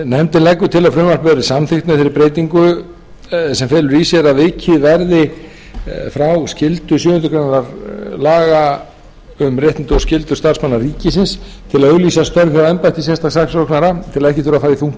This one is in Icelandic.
nefndin leggur til að frumvarpið verði samþykkt með breytingu sem felur í sér að vikið verði frá skyldu sjöundu grein laga um réttindi og skyldur starfsmanna ríkisins til að auglýsa störf hjá embætti sérstaks saksóknara til að ekki þurfi að fara í þungt